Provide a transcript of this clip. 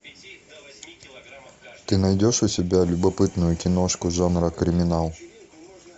ты найдешь у себя любопытную киношку жанра криминал